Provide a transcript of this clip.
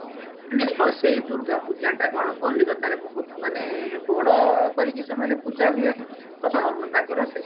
ମାନେ ସ ସେଇ ଦୂର୍ଗା ପୂଜା ଟା କଣ କଲିକତାରେ ବହୁତ ମାନେ ବଡ କରିକି ସେମାନେ ପୂଜା ହୁଏ ତ ତାଙ୍କର ସେଇ